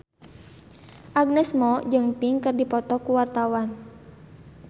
Agnes Mo jeung Pink keur dipoto ku wartawan